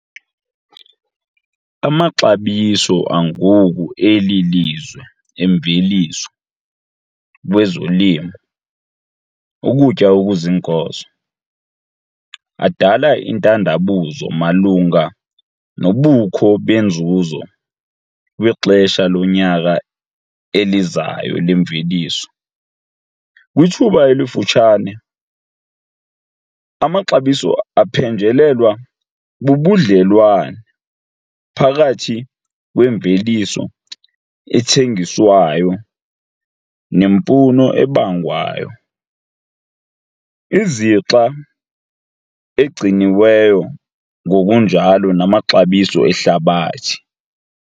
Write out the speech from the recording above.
Amaxabiso angoku eli lizwe eemveliso kwezolimo, ukutya okuziinkozo, adala intandabuzo malunga nobukho benzuzo kwixesha lonyaka elizayo lemveliso. Kwithuba elifutshane, amaxabiso aphenjelelwa bubudlelwana phakathi kwemveliso ethengiswayo nemfuno ebangwayo, izixa egciniweyo ngokunjalo namaxabiso ehlabathi.